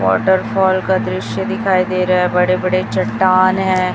Waterfall का दृश्य दिखाई दे रहा है बड़े बड़े चट्टान हैं।